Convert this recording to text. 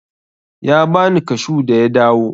Ya bani kashu da ya dawo.